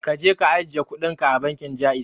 Kaje ka ajiye kudinka bankin Ja'iz.